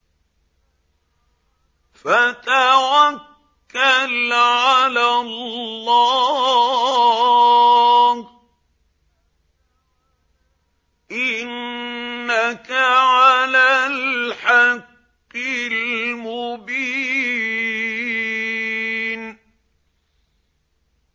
فَتَوَكَّلْ عَلَى اللَّهِ ۖ إِنَّكَ عَلَى الْحَقِّ الْمُبِينِ